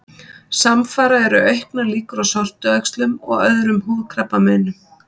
Samfara eru auknar líkur á sortuæxlum og öðrum húðkrabbameinum.